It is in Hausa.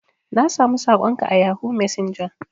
Na samu sakon ka a yahoo messenger.